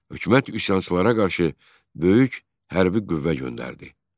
Hökumət üsyançılara qarşı böyük hərbi qüvvə göndərdi.